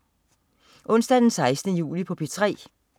Onsdag den 16. juli - P3: